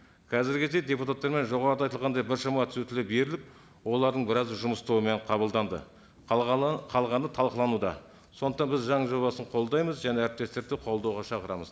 қазіргі кезде депутаттармен жоғарыда айтылғандай біршама түзетулер беріліп олардың біразы жұмыс тобымен қабылданды қалғаны талқылануда сондықтан біз заң жобасын қолдаймыз және әріптестерді де қолдауға шақырамыз